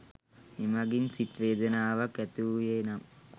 එමගින් සිත් වේදනාවක් ඇති වූයේ නම්